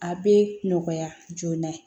A bɛ nɔgɔya joona